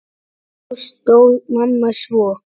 Í ágúst dó mamma svo.